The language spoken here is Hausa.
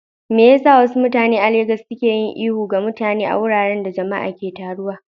Me yasa wasu mutane a Legas suke yin ihu ga mutane a wuraren da jama'a ke taruwa?